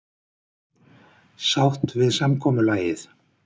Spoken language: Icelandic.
Sátt við samkomulagið